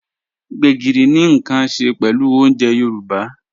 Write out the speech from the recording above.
Gbegírí ni nkan ṣẹ pẹlú ọ̀unjè Yorùbá.